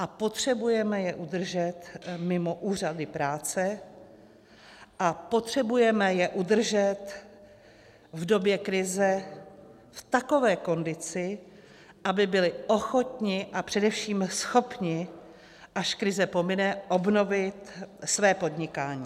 A potřebujeme je udržet mimo úřady práce a potřebujeme je udržet v době krize v takové kondici, aby byli ochotni a především schopni, až krize pomine, obnovit své podnikání.